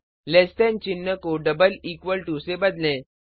lace than चिन्ह को double equal to से बदलें